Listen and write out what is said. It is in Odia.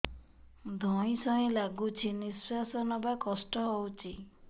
ଧଇଁ ସଇଁ ଲାଗୁଛି ନିଃଶ୍ୱାସ ନବା କଷ୍ଟ ହଉଚି